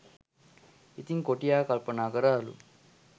ඉතිං කොටියා කල්පනා කරාලු